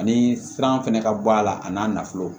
Ani sira fɛnɛ ka bɔ a la a n'a nafolo